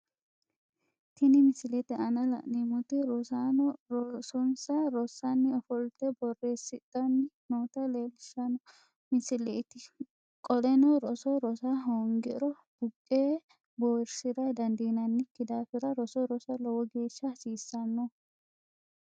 Tinni misilete aanna la'neemoti rosaano rosonsa rosanni ofolte boreesidhanni noota leelishano misileeti qoleno roso Rosa hoongiro buqee buwirsira dandiinanniki daafira roso Rosa lowo geesha hasiisano.